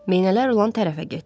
Meynələr olan tərəfə getdi.